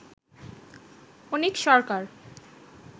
অনিক সরকার